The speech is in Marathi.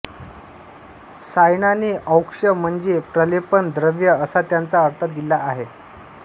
सायणाने औक्ष म्हणजे प्रलेपण द्रव्य असा त्याचा अर्थ दिला आहे